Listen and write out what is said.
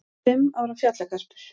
Fimm ára fjallagarpur